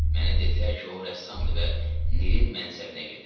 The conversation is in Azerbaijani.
Mənə dedilər ki, o rəssamdır və Nilin mənsəbinə gedir.